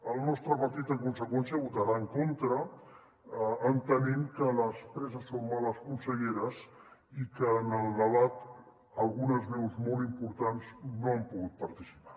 el nostre partit en conseqüència hi votarà en contra entenent que les presses són males conselleres i que en el debat algunes veus molt importants no han pogut participar